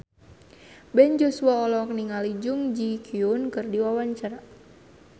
Ben Joshua olohok ningali Jun Ji Hyun keur diwawancara